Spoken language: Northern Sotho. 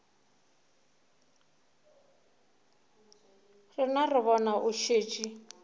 rena re bone o šetše